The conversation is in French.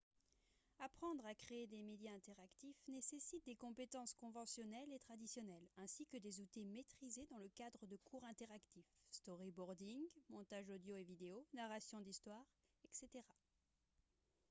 apprendre à créer des médias interactifs nécessite des compétences conventionnelles et traditionnelles ainsi que des outils maîtrisés dans le cadre de cours interactifs storyboarding montage audio et vidéo narration d'histoires etc.